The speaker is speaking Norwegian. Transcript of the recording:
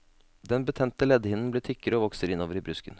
Den betente leddhinnen blir tykkere og vokser innover i brusken.